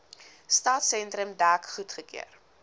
stadsentrum dek goedgekeur